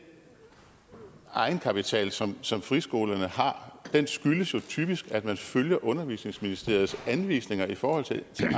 egenkapital som som friskolerne har skyldes jo typisk at man følger undervisningsministeriets anvisninger i forhold til